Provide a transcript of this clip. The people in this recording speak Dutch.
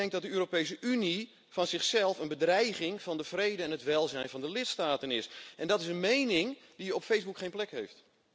Ik denk dat de Europese Unie als zodanig een bedreiging voor de vrede en het welzijn van de lidstaten is, en dat is een mening die op Facebook geen plek heeft.